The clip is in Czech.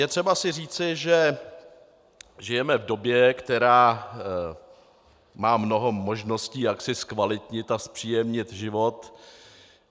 Je třeba si říci, že žijeme v době, která má mnoho možností, jak si zkvalitnit a zpříjemnit život.